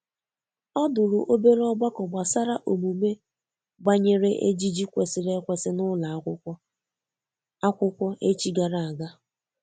o dụrụ obere ogbako gbasara omume gbanyere ejiji kwesiri ekwesi n'ụlọ akwụkwo akwụkwo echi gara aga.